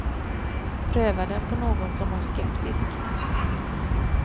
Pröva den på någon som är skeptisk.